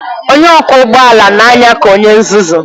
Onye ọkwọ ụgbọ ala na-anya ka onye nzuzu